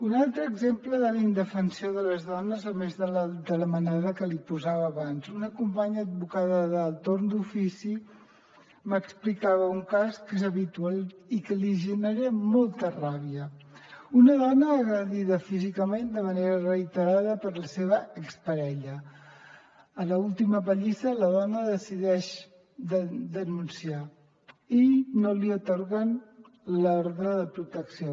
un altre exemple de la indefensió de les dones a més de la manada que li posava abans una companya advocada del torn d’ofici m’explicava un cas que és habitual i que li genera molta ràbia una dona agredida físicament de manera reiterada per la seva exparella a l’última pallissa la dona decideix denunciar i no li atorguen l’ordre de protecció